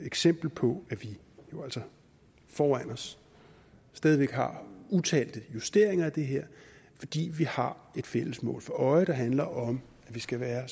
eksempel på at vi jo altså foran os stadig væk har utalte justeringer af det her fordi vi har et fælles mål for øje der handler om at vi skal være